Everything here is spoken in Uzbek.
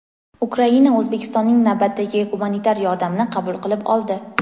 Ukraina O‘zbekistonning navbatdagi gumanitar yordamini qabul qilib oldi.